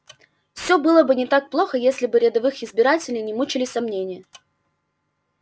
всё было бы не так плохо если бы рядовых избирателей не мучили сомнения